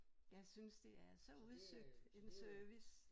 Jeg synes det er så udsøgt en service